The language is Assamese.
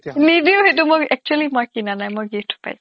নিদিওঁ সেইটো মই actually মই কিনা নাই মই gift পাইছো